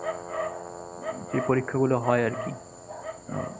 এ পরীক্ষাগুলো হয় আরকি। আহ